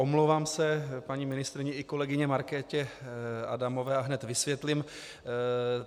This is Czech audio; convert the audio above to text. Omlouvám se paní ministryni i kolegyni Markétě Adamové a hned vysvětlím.